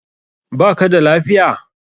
Ba ka da lafiya?